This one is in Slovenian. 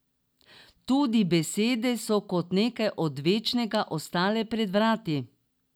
Tudi besede so kot nekaj odvečnega ostale pred vrati.